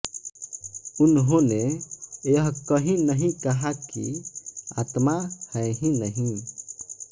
उन्होंने यह कहीं नहीं कहा कि आत्मा है ही नहीं